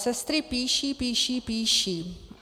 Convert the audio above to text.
Sestry píší, píší, píší.